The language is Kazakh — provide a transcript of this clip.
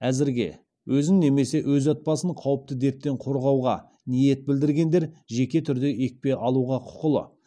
әзірге өзін немесе өз отбасын қауіпті дерттен қорғауға ниет білдіргендер жеке түрде екпе алуға құқылы